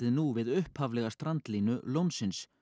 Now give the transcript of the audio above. nú við upphaflega strandlínu lónsins